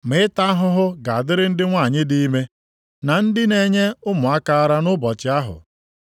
Ma ịta ahụhụ ga-adịrị ndị nwanyị di ime, na ndị na-enye ụmụaka ara nʼụbọchị ahụ